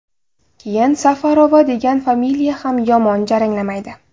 Keyin Safarova degan familiya ham yomon jaranglamaydi”.